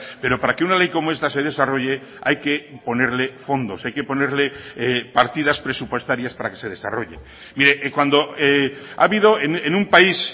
pero para que una ley como esta se desarrolle hay que ponerle fondos hay que ponerle partidas presupuestarias para que se desarrolle mire cuando ha habido en un país